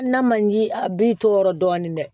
N'a man ji a b'i to yɔrɔ dɔɔni dɛ